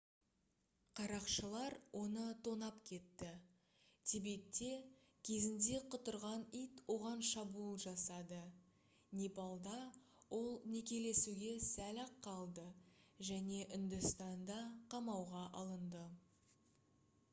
қарақшылар оны тонап кетті тибетте кезінде құтырған ит оған шабуыл жасады непалда ол некелесуге сәл-ақ қалды және үндістанда қамауға алынды